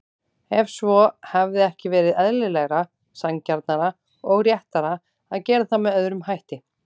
Ef svo, hefði ekki verið eðlilegra, sanngjarnara og réttara að gera það með öðrum hætti?